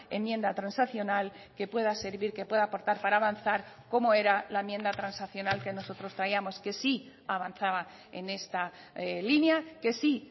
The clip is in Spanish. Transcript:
enmienda transaccional que pueda servir que pueda aportar para avanzar como era la enmienda transaccional que nosotros traíamos que sí avanzaba en esta línea que sí